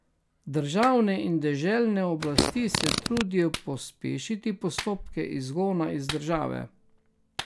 Državne in deželne oblasti se trudijo pospešiti postopke izgona iz države.